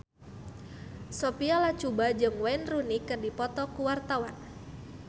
Sophia Latjuba jeung Wayne Rooney keur dipoto ku wartawan